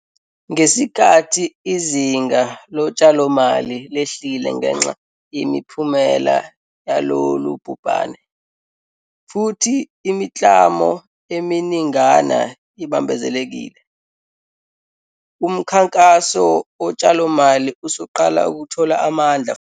Ngesikhathi izinga lotshalomali lehlile ngenxa yemiphumela yalolu bhubhane, futhi imiklamo eminingana ibambezelekile, umkhankaso wotshalomali usuqala ukuthola amandla futhi.